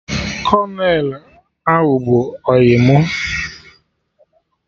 Kolonel ahụ bụ ọyị mụ